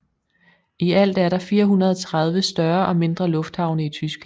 I alt er der 430 større og mindre lufthavne i Tyskland